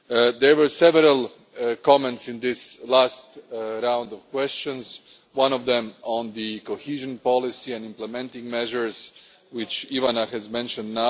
There were several comments in the last round of questions, one of them on the cohesion policy and implementing measures, which Ivana has just mentioned.